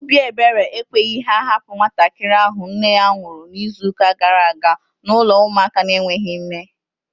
Obi ebere ekweghị ha hapụ nwatakịrị ahụ nne ya nwụrụ n'izuka gara aga n'ụlọ ụmụaka na enweghị nne